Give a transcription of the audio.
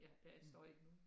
Ja der står ikke nogen